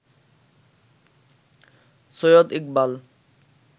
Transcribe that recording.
Syed Iqbal